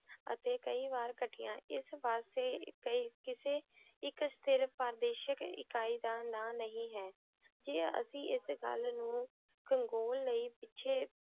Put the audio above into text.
ਅਤੀ ਕਈ ਵਾਰ ਕਾਤਿਯਾਂ ਏਸ ਵਾਸਤੇ ਕਿਸੇ ਏਇਕ ਸਥਿਰ ਪਾਦੇਸ਼ਿਕ ਇਕਾਈ ਦਾ ਨਾਮ ਨਾਈ ਹੈ ਕੇ ਅਸੀਂ ਏਸ ਗਲ ਨੂ ਕੰਗੂਲ ਲੈ ਪਿਛੇ